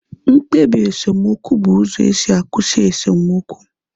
Mkpebi esemokwu bụ uzo esi akwụsị esemokwu